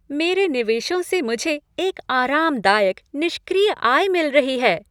मेरे निवेशों से मुझे एक आरामदायक निष्क्रिय आय मिल रही है।